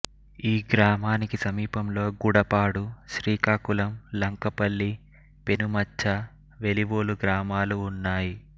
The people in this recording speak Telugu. ఈ గ్రామానికి సమీపంలో గుడపాడు శ్రీకాకుళం లంకపల్లి పెనుమత్చ వెలివోలు గ్రామాలు ఉన్నాయి